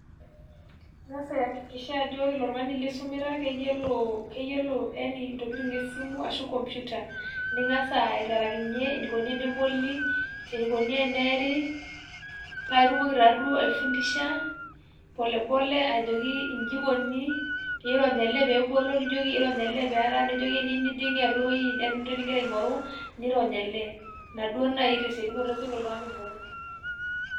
Eyas ayakikisha ajo ore ilo Tung'ani lisumita keyiolo keyiolo yani entokitin' esimu arashu enkomputa. Ning'asa aiterakinyie enikoni eneboli enikoni eneeri, paa itumoki taa duo aifundisha pole pole ajoki eji eikoni niirony' ele pee ebolo niirony' ele peara nijoki eniyieu nijing' atwa ewueji eeta entoki nigira aing'oru niirony' ele Ina duo naii tesiokinoto esioki oltung'ani aibung'..